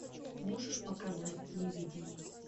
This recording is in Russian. можешь показать невидимый